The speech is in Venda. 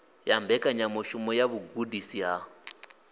ya mbekanyamushumo ya vhugudisi ha